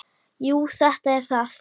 Jú, þetta er það.